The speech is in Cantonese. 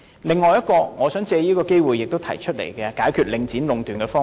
此外，我想藉此機會提出另一個可以考慮用作解決領展壟斷的方法。